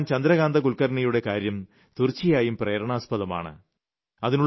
എങ്കിലും ശ്രീമാൻ ചന്ദ്രകാന്ത കുൽക്കർണിയുടെ കാര്യം തീർച്ചയായും പ്രേരണാജനകമാണ്